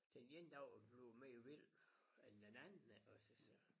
Den ene dag bliver mere vild end den anden altså så